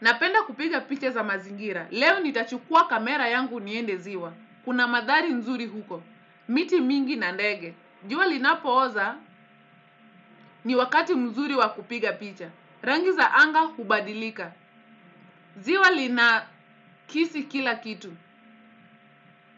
Napenda kupiga picha za mazingira. Leo nitachukua kamera yangu niende ziwa. Kuna madhari nzuri huko. Miti mingi na ndege. Jua linapooza ni wakati nzuri wa kupiga picha. Rangi za anga hubadilika. Ziwa linakisi kila kitu.